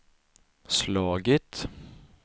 slagit